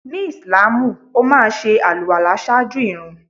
Ni ìsláàmù, ó máa ṣe àlùwàlá ṣáájú ìrun.